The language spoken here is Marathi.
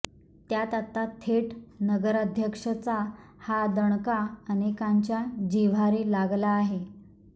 त्यात आता थेट नगराध्यक्षाचा हा दणका अनेकांच्या जिव्हारी लागला आहे